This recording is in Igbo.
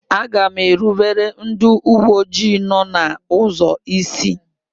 Aga m erubere ndị uwe ojii nọ n'ụzọ isi.